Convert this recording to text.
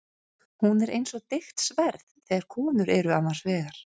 Hún er eins og deigt sverð þegar konur eru annars vegar.